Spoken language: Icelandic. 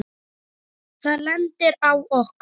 Það lendir á okkur.